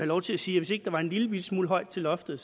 lov til at sige at hvis ikke der var en lillebitte smule højt til loftet